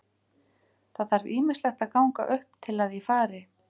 Það þarf ýmislegt að ganga upp til að ég fari.